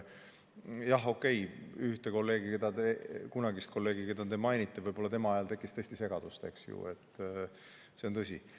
Jah, okei, ühe kolleegi, teie kunagise kolleegi ajal, keda te mainisite, tekkis tõesti segadust, eks ju, see on tõsi.